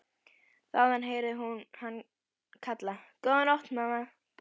Þaðan heyrði hún hann kalla: Góða nótt mamma.